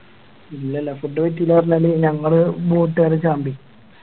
ഇല്ലല്ല Food കിട്ടില്ല പറഞ്ഞാല് ഞങ്ങളെ Boat കാരൻ ചാമ്പി